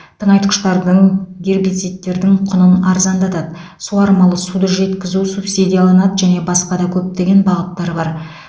тыңайтқыштардың гербицидтердің құнын арзандатады суармалы суді жеткізу субсидияланады және басқа да көптеген бағыттар бар